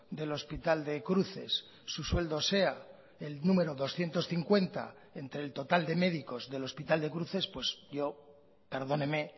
del hospital de cruces su sueldo sea el número doscientos cincuenta entre el total de médicos del hospital de cruces pues yo perdóneme